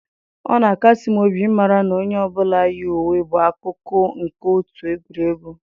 Ọ na-akasi m obi ịmara na onye ọ bụla yi uwe bụ akụkụ nke otu egwuregwu.